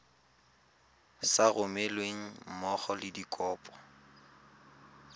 sa romelweng mmogo le dikopo